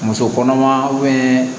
Muso kɔnɔma